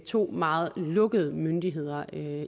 to meget lukkede myndigheder